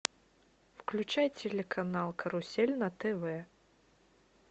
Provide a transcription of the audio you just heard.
включай телеканал карусель на тв